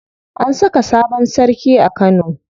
An saka sabon sarki a Kano.